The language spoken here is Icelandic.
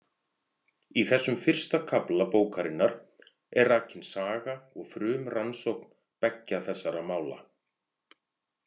Í þessum fyrsta kafla bókarinnar er rakin saga og frumrannsókn beggja þessara mála.